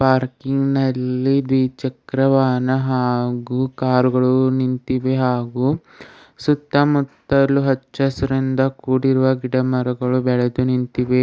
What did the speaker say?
Parking ನಲ್ಲಿ ದ್ವಿಚಕ್ರ ವಾಹನ ಹಾಗು ಕಾರ್ ಗಳು ನಿಂತಿವೆ ಹಾಗು ಸುತ್ತ ಮುತ್ತಲು ಹಚ್ಚ ಹಸಿರಿಂದ ಕುಡಿರುವ ಗಿಡ ಮರಗಳು ಬೆಳೆದು ನಿಂತಿವೆ.